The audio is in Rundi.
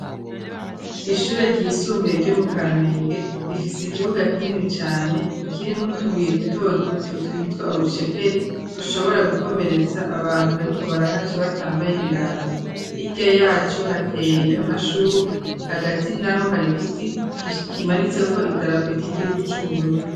Ishure ryisumbuye ryo mu kamenge rifise ikibuga kinini cane kirimw'utubuye duto duto twitwa urucekeri tushobora gukomeretsa abantu bariko barahaca batambaye ibirato, hirya yaco hateye amashugwe hagati naho hari giti kimanitse ko idarapo ry'igihugu c'Uburundi.